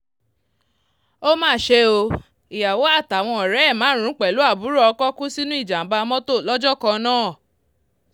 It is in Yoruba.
ó mà ṣe o ìyàwó àtàwọn ọ̀rẹ́ ẹ̀ márùn-ún pẹ̀lú àbúrò ọkọ̀ kú sínú ìjàm̀bá mọ́tò lọ́jọ́ kan náà